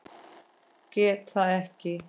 Get það ekki.